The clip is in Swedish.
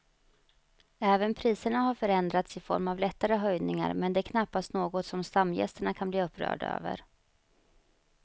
Även priserna har förändrats i form av lättare höjningar men det är knappast något som stamgästerna kan bli upprörda över.